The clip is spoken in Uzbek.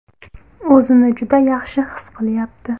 O‘zini juda yaxshi his qilyapti.